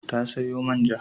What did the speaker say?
Ya sayo man ja.